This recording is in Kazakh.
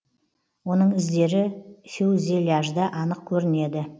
оның іздері фюзеляжда анық көрінеді